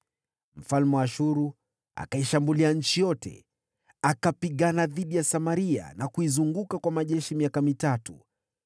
Mfalme wa Ashuru akaishambulia nchi yote, akapigana dhidi ya Samaria na kuizunguka kwa majeshi miaka mitatu.